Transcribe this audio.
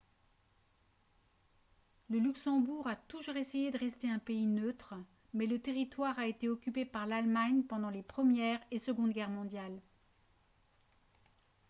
le luxembourg a toujours essayé de rester un pays neutre mais le territoire a été occupé par l'allemagne pendant les première et seconde guerres mondiales